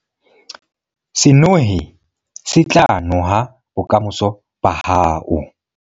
Senohe se tla noha bokamoso ba hao.